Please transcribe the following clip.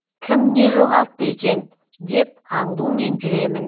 кім не жоғалтты екен деп аңдумен жүремін